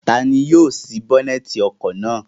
Ta ni yóò sí bónẹ́tì ọkọ̀ náà?